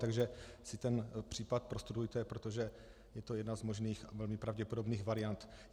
Takže si ten případ prostudujte, protože je to jedna z možných a velmi pravděpodobných variant.